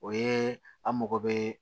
O ye an mago bɛ